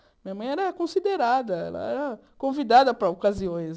Minha mãe era considerada, ela era convidada para ocasiões.